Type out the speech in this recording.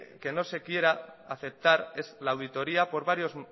que no se quiere aceptar la auditoria por varios